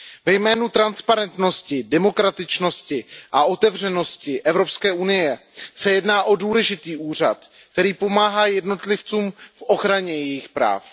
Ve jménu transparentnosti, demokratičnosti a otevřenosti Evropské unie se jedná o důležitý úřad, který pomáhá jednotlivcům v ochraně jejich práv.